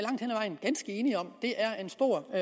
enige om er det er en stor og